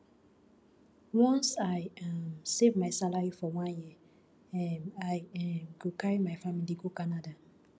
once i um save my salary for one year um i um go carry my family go canada